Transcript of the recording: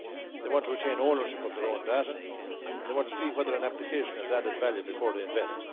They want to retain ownership of their own data and they want to see whether an application has added value before they invest.